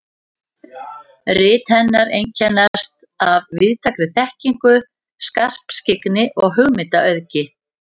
Rit hennar einkennast af víðtækri þekkingu, skarpskyggni og hugmyndaauðgi.